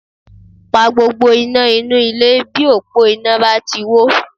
Pa gbogbo iná inú ilé bí òpó iná bá ti wó